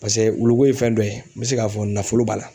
Pase wulu ko ye fɛn dɔ ye n bɛ se k'a fɔ nafolo b'a la